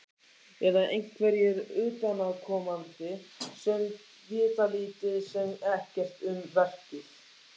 Eða einhverjir utanaðkomandi sem vita lítið sem ekkert um verkið?